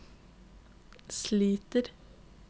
sliter